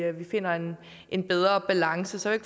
vi finder en en bedre balance så jeg